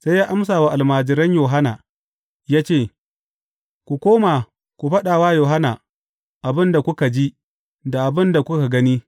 Sai ya amsa wa almajiran Yohanna ya ce, Ku koma ku faɗa wa Yohanna abin da kuka ji, da abin da kuka gani.